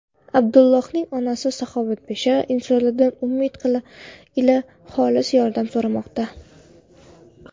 Abdullohning onasi saxovatpesha insonlardan umid ila xolis yordam so‘ramoqda.